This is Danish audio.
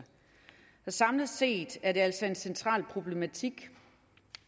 samlet set er det altså en central problematik